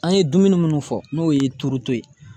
An ye dumuni munnu fɔ n'o ye turu to ye.